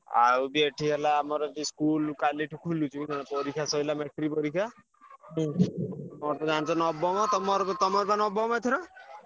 ଆଉ ବି ଏଠି ହେଲା ଆମର ବି school କାଲିଠୁ ଖୋଲୁଚୁ ପରୀକ୍ଷା ସରିଲା matric ପରୀକ୍ଷା। ମୋର ତ ଜାଣିଚ ନବମ ତମର ତମର ତ ନବମ ଏଥର?